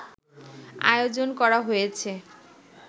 আয়োজন করা হয়েছে